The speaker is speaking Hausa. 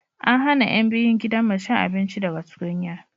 an hana yan biyun gidan mu cin abinci daga tukunya